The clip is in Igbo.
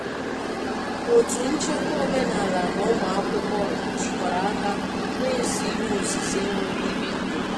Otu nchekwa omenala na ụmụ akwụkwọ jikọrọ aka na-ese ihe osise nwere ihe nketa.